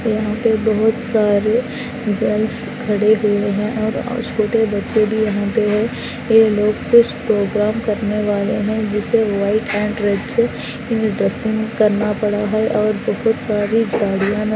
यहाँ पे बहुत सरे गर्ल्स खड़े है।